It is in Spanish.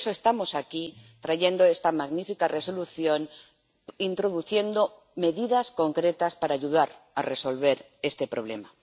Por eso, estamos aquí, trayendo esta magnífica resolución, introduciendo medidas concretas para ayudar a resolver este problema.